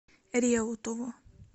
реутову